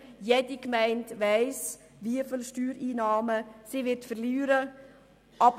Jede Gemeinde weiss, wie viele Steuereinnahmen sie verlieren wird.